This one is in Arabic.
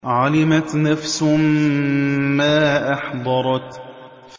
عَلِمَتْ نَفْسٌ مَّا أَحْضَرَتْ